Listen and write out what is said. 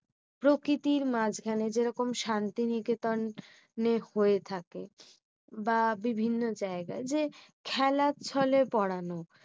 প্রকৃতির মাঝখানে যেরকম শান্তিনিকেতন হয়ে থাকে। বা বিভিন্ন জায়গায় খেলাচ্ছলে পড়ানো।